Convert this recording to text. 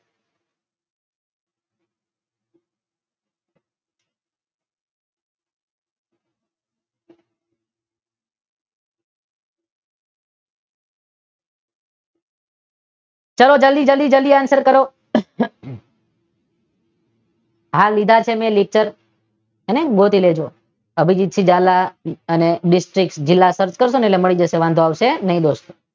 ચાલો જલ્દી જલ્દી જલ્દી આન્સર કરો. હા લીધા છે મે લેકચર. હે ને ગોતી લેજો અભેષેક ઝાલા અને બેક જીલ્લા સર્ચ કરશો એટલે મળી જશે વાંધો આવશે નહી.